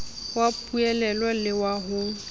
wa poulelo le wa ho